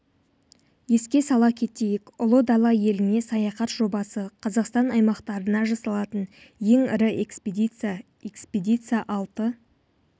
еске сала кетейік ұлы дала еліне саяхат жобасы қазақстан аймақтарына жасалатын ең ірі экспедиция экспедиция алты